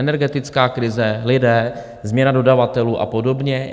Energetická krize, lidé, změna dodavatelů a podobně.